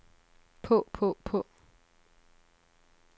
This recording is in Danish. på på på